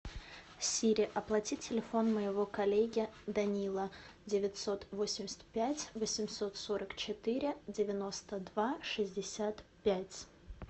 сири оплати телефон моего коллеги данила девятьсот восемьдесят пять восемьсот сорок четыре девяносто два шестьдесят пять